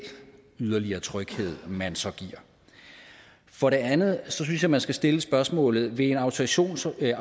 yderligere tryghed man så giver for det andet synes jeg man skal stille spørgsmålet vil en autorisationsordning